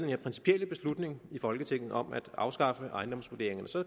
her principielle beslutning i folketinget om at afskaffe ejendomsvurderingerne så